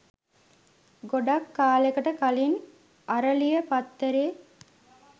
ගොඩක් කාලෙකට කලින් "අරලිය" පත්තරේ